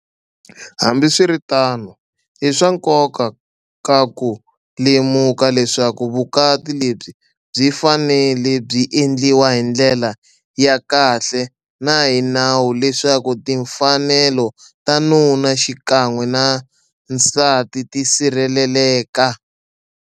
Hambiswiritano, i swa nko ka ku lemuka leswaku vukati lebyi byi fanele byi endliwa hi ndlela ya kahle na hi nawu leswaku timfanelo ta nuna xikan'we nan nsati ti sirheleleka.